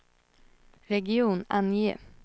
region, ange